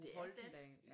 Bo Holten